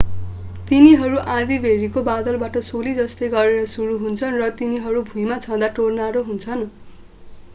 तिनीहरू आँधीबेहरीको बादलबाट सोली जस्तै गरेर सुरु हुन्छन् र तिनीहरू भुईमा छुँदा टोर्नाडो हुन्छन्